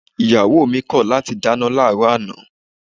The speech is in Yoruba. Ìyàwó mi kọ̀ láti dáná láàárọ̀ àná